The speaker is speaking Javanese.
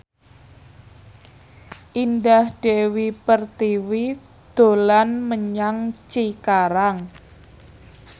Indah Dewi Pertiwi dolan menyang Cikarang